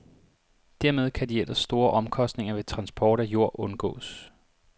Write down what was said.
Dermed kan de ellers store omkostninger ved transport af jord undgås.